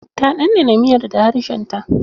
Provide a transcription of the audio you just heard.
Ta ɗanɗana miyar da harshen ta.